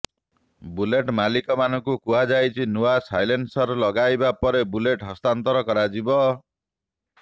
bullet ମାଲିକମାନଙ୍କୁ କୁହଯାଇଛି ନୂଆ ସାଇଲେଇନ୍ସର ଲଗାଇବା ପରେ ବୁଲେଟ୍ ହସ୍ତାନ୍ତର କରାଯିବ